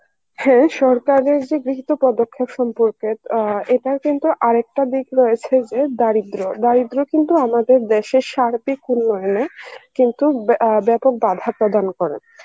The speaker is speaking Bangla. হ্যাঁ সরকারের যে গৃহীত পদক্ষেপ সম্পর্খে আ এটার কিন্তু আর একটা দিক রয়েছে যে দারিদ্দ্র, দারিদ্দ্র কিন্তু আমাদের দেশে সার্বিক পরিমানে কি অ্যাঁ বেপক বাঁধা প্রদান করে